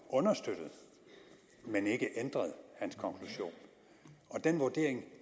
understøttet men ikke ændret den vurdering